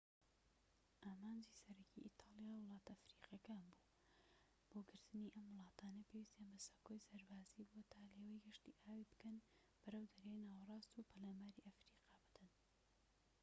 ئامانجی سەرەکیی ئیتاڵیا وڵاتە ئەفریقیەکان بووە بۆ گرتنی ئەم وڵاتانە پێویستیان بە سەکۆی سەربازیی بووە تا لێوەی گەشتی ئاوی بکەن بەرەو دەریای ناوەراست و پەلاماری ئەفریقا بدەن